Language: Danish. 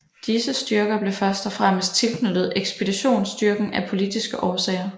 Disse styrker blev først og fremmest tilknyttet ekspeditionsstyrken af politiske årsager